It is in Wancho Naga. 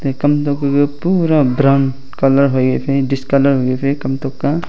e kamnok keke pura brown colour fai discolour hoiley kamtok a.